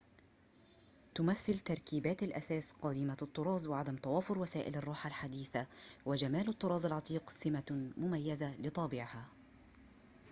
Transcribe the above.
تمثّل تركيبات الأثاث قديمة الطراز وعدم توافر وسائل الراحة الحديثة وجمال الطراز العتيق سمة مميزة لطابعها